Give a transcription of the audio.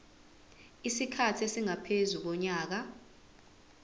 isikhathi esingaphezu konyaka